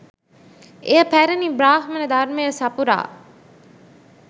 එය පැරැණි බ්‍රාහ්මණ ධර්මය සපුරා